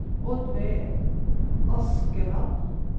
Oddveig Askeland